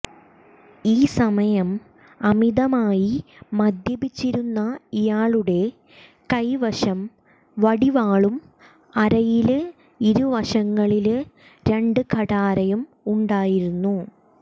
ഈ സമയം അമിതമായി മദ്യപിച്ചിരുന്ന ഇയാളുടെ കൈവശം വടിവാളും അരയില് ഇരുവശങ്ങളില് രണ്ട് കഠാരയും ഉണ്ടായിരുന്നു